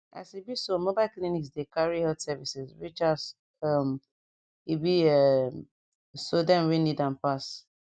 as e be so mobile clinics dey carry health services reachas um e be um sodem wey need am pass